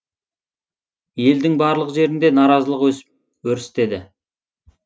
елдің барлық жерінде наразылық өсіп өрістеді